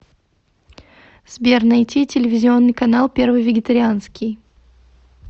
сбер найти телевизионный канал первый вегетарианский